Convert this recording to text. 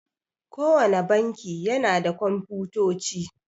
Kowanne banki yana da Komfutoci.